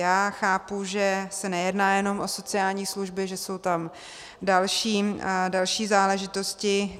Já chápu, že se nejedná jenom o sociální služby, že jsou tam další záležitosti.